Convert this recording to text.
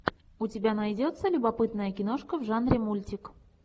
у тебя найдется любопытная киношка в жанре мультик